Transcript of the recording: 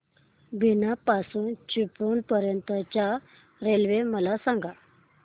बीना पासून चिपळूण पर्यंत च्या रेल्वे मला सांगा